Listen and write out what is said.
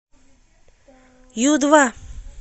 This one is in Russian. ю два